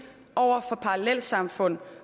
over for parallelsamfund